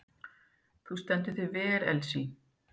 Þú stendur þig vel, Elsí!